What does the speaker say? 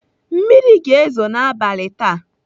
Mmiri ga-ezo n'abalị taa.